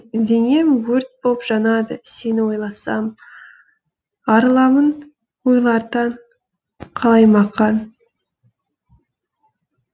денем өрт боп жанады сені ойласам арыламын ойлардан қалаймақан